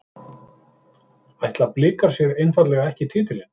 Ætla Blikar sér einfaldlega ekki titilinn?